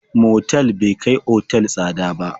Motal bai kai otal tsada ba.